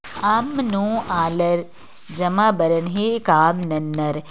आम नो आलर जमा बरन हे काम नन अर